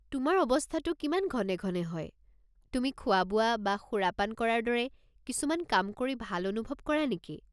তোমাৰ অৱস্থাটো কিমান ঘনে-ঘনে হয়, তুমি খোৱা-বোৱা বা সুৰাপান কৰাৰ দৰে কিছুমান কাম কৰি ভাল অনুভৱ কৰা নেকি?